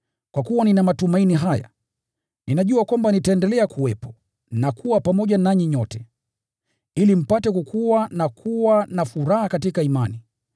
Kwa kuwa nina matumaini haya, ninajua kwamba nitaendelea kuwepo na kuwa pamoja nanyi nyote, ili mpate kukua na kuwa na furaha katika imani.